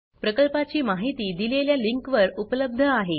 प्रकल्पाची माहिती दिलेल्या लिंकवर उपलब्ध आहे